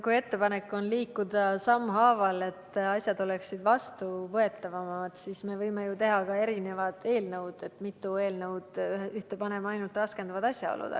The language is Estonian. Kui ettepanek on liikuda sammhaaval, et asjad oleksid vastuvõetavamad, siis me võime ju teha mitu eelnõu, nii et ühte paneme ainult raskendavad asjaolud.